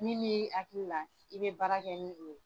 Min b'i hakili la, i bɛ baara kɛ ni o ye.